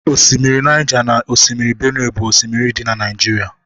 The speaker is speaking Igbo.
osimiri Niger na osimiri Benue bu osimiri di na Naijiria